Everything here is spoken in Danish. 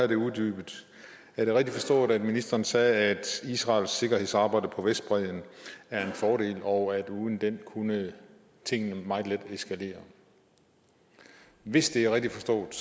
det uddybet er det rigtigt forstået at ministeren sagde at israels sikkerhedsarbejde på vestbredden er en fordel og at uden det kunne tingene meget let eskalere hvis det er rigtigt forstået